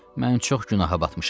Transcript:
Mən çox günaha batmışam.